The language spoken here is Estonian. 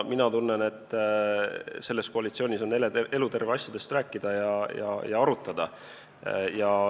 Mina tunnen, et selles koalitsioonis on eluterve asjadest rääkida ja arutada.